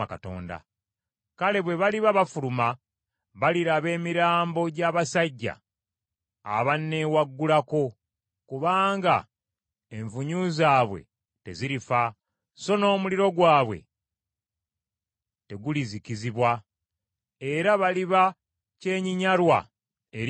“Kale bwe baliba bafuluma, baliraba emirambo gy’abasajja abanneewaggulako; kubanga envunyu zaabwe tezirifa, so n’omuliro gwabwe tegulizikizibwa; era baliba kyennyinnyalwa eri abantu bonna.”